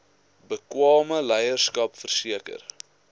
bekwame leierskap verseker